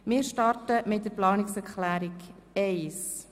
Sie haben die Planungserklärung 1 angenommen.